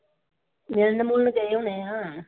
ਮਿਲਣ ਮਿਲੁਣ ਗਏ ਹੋਣੇ ਆ।